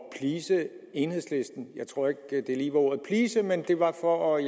at please enhedslisten jeg tror ikke lige ordet please men det var for